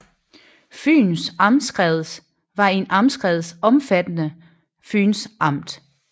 Fyns Amtskreds var en amtskreds omfattende Fyns Amt